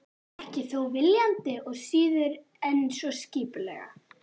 Ekki þó viljandi og síður en svo skipulega.